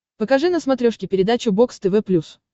покажи на смотрешке передачу бокс тв плюс